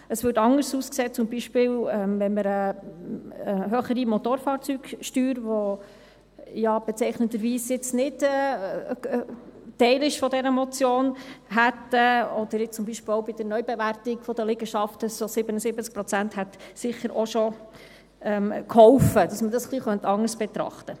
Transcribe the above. Es würde anders aussehen, wenn wir zum Beispiel eine höhere Motorfahrzeugsteuer hätten, die ja bezeichnenderweise jetzt nicht Teil dieser Motion ist, oder zum Beispiel bei der Neubewertung der Liegenschaften hätten 77 Prozent sicher auch schon geholfen, dass man dies etwas anders betrachten könnte.